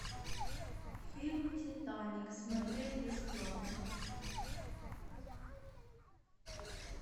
фильм титаник смотреть бесплатно